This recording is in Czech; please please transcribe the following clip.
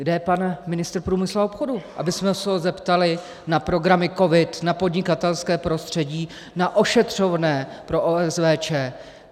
Kde je pan ministr průmyslu a obchodu, abychom se ho zeptali na programy COVID, na podnikatelské prostředí, na ošetřovné pro OSVČ?